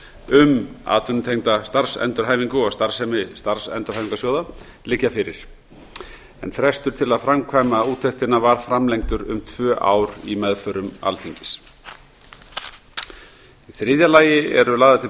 um atvinnutengda endurhæfingu og starfsemi starfsendurhæfingarsjóða liggja fyrir en frestur til að framkvæma úttektina var framkvæmdur í tvö ár í meðförum alþingis í þriðja lagi eru lagðar til